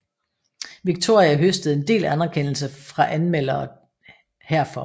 Victoria høstede en del anerkendelse fra anmeldere herfor